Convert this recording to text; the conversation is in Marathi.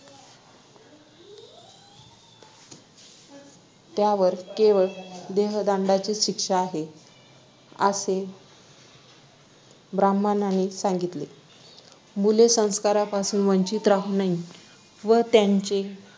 त्यावर केवळ देहदंडाची शिक्षा आहे असे ब्राम्हणाना हि सांगितले. मुले संस्कारापासून वंचित राहू नये व त्यांचे